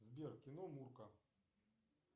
сбер кино мурка